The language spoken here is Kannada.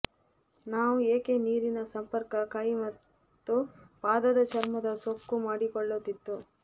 ನಾವು ಏಕೆ ನೀರಿನ ಸಂಪರ್ಕ ಕೈ ಮತ್ತು ಪಾದದ ಚರ್ಮದ ಸುಕ್ಕು ಮಾಡಿಕೊಳ್ಳುತ್ತಿತ್ತು